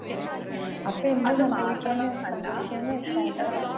അപ്പോ എന്താ സംഭവിക്കുകാന്ന് വെ സംഭവിക്കുകാന്ന് വെച്ചാല്